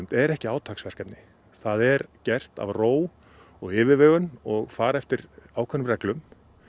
er ekki átaksverkefni það er gert af ró og yfirvegun og fara eftir ákveðnum reglum